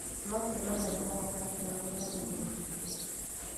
No tũrũe na mũrimũ wa cancer na gũthomithia mũingĩ